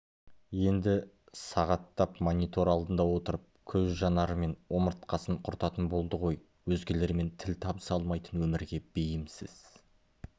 енді сағаттап монитор алдында отырып көз жанары мен омыртқасын құртатын болды ғой өзгелермен тіл табыса алмайтын өмірге бейімсіз